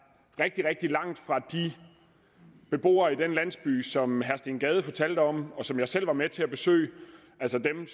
rigtig rigtig langt fra de beboere i den landsby som herre steen gade fortalte om og som jeg selv var med til at besøge altså dem